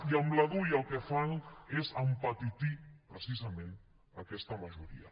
i amb la dui el que fan és empetitir precisament aquesta majoria